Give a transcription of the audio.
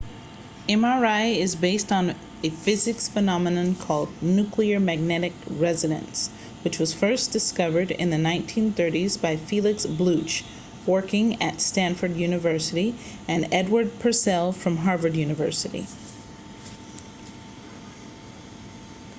mri is based on a physics phenomenon called nuclear magnetic resonance nmr which was discovered in the 1930s by felix bloch working at stanford university and edward purcell from harvard university